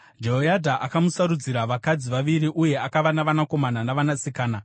Jehoyadha akamusarudzira vakadzi vaviri uye akava navanakomana navanasikana.